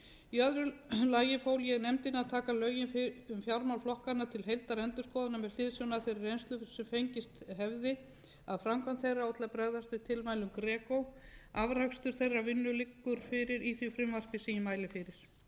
í öðru lagi fól ég nefndinni að taka lögin um fjármál flokkanna til heildarendurskoðunar með hliðsjón af þeirri reynslu sem fengist hefði af framkvæmd þeirra og til að bregðast við tilmælum greco afrakstur þeirrar vinnu liggur fyrir í því frumvarpi sem ég mæli fyrir